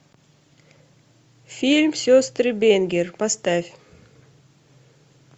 фильм сестры бэнгер поставь